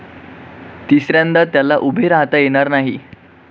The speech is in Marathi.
तिसऱ्यांदा त्याला उभे राहता येणार नाही.